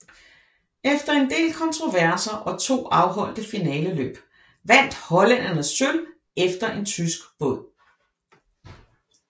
Efter en del kontroverser og to afholdte finaleløb vandt hollænderne sølv efter en tysk båd